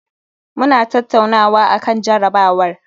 Muna tattaunawa akan jarabawar